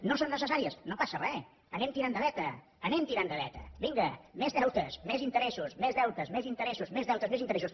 no són necessà ries no passa re anem tirant de veta anem tirant de veta vinga més deutes més interessos més deutes més interessos més deutes més interessos